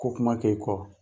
Ko kuma kɛ i kɔ.